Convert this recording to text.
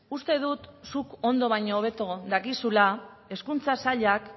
uste dut zuk ondo baino hobeto dakizula hezkuntza sailak